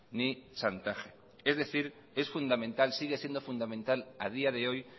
ni chantaje es decir sigue siendo fundamental a día de hoy